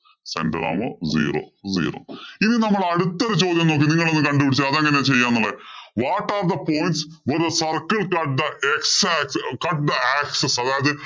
zero zero ഇനി നമ്മള്‍ അടുത്ത ചോദ്യം നോക്ക് നിങ്ങളൊന്നു കണ്ടുപിടിച്ചേ അതെങ്ങന ചെയ്യാന്നുള്ളത് what are the points when the circle touch the x axis cut the axis അതായത്